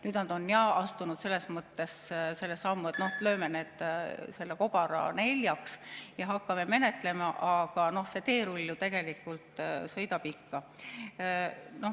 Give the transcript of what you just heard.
Nüüd nad on jah astunud selle sammu, et lööme selle kobara neljaks ja hakkame menetlema, aga see teerull ju tegelikult sõidab ikka.